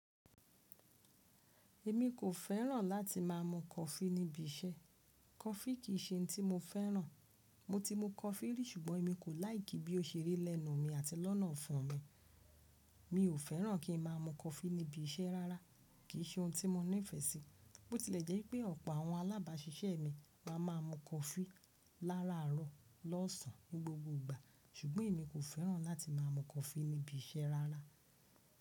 Emi kò fẹ́ràn láti má a mu coffee níbi iṣẹ́. Coffee kì í ṣe ohun tí mo fẹ́ràn. Mo ti mu coffee rí ṣùgbọ́n èmi kò láìkí bí ó ṣe rí lẹ́nu mi àti lọ́nà ọfun mi. Mi ò fẹ́ràn kí n má a mu coffee níbi iṣẹ́ rárá, kì í ṣe ohun tí mo nífẹ̀ẹ́ sí. Bó tilẹ̀ jẹ́ pé ọ̀pọ̀ àwọn alábàáṣiṣẹ́ mi wá máa maa mu coffee láràárọ̀ lọ́sàn ní gbogbo ìgbà ṣùgbọ́n èmi kò fẹ́ràn láti máa mu coffee níbi iṣẹ́ rárá.